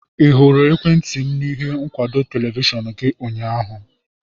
Ị hụrụ ekwentị m na ihe nkwụdo televishọn gị ụnyaahụ?